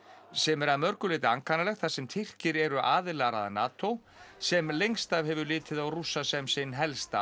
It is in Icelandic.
sem er að mörgu leyti ankannalegt þar sem Tyrkir eru aðilar að NATO sem lengst af hefur litið á Rússa sem sinn helsta